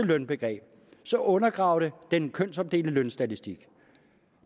lønbegreb undergraver det den kønsopdelte lønstatistik